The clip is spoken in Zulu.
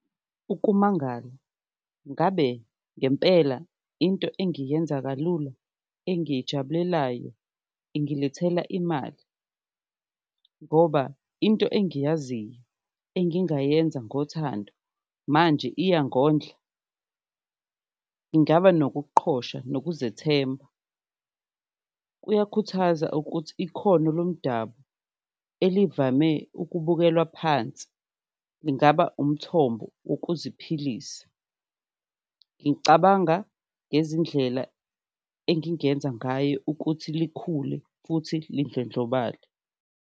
Ukumangala, ngabe ngempela into engiyenza kalula engiyijabulelayo, ingilethela imali ngoba into engiyaziyo engingayenza ngothando manje iyangondla. Ngingaba nokuqhosha nokuzethemba, kuyakhuthaza ukuthi ikhono lomdabu elivame ukubukelwa phansi lingaba umthombo wokuziphilisa, ngicabanga ngezindlela engingenza ngayo ukuthi likhule futhi lindlondlobale.